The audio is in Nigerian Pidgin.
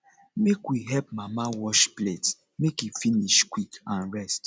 make we help mama wash plates make e finish quick and rest